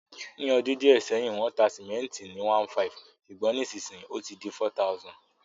Ní odún díẹ̀ sẹ́hìn, wón ta cement ni #1,500 sùgbón nísinsíyì ó ti di #4000